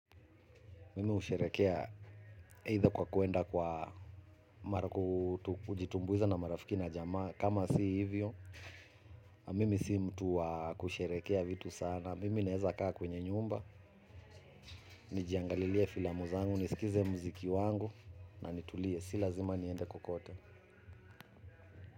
Mimi husherekea either kwa kuenda kwa ama ku kujitumbuiza na marafiki na jamaa. Kama si hivyo, mimi si mtu wa kusherekea vitu sana. Mimi naeza kaa kwenye nyumba, nijiangalilie filamu zangu, nisikize muziki wangu. Na nitulie, si lazima niende kokote.